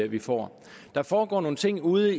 vi får der foregår nogle ting ude